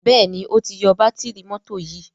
Béèni o tí yó Bátìrì mọ́tò yì.